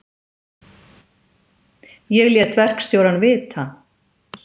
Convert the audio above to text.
Ég lét verkstjórann vita.